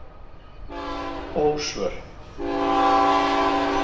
Ósvör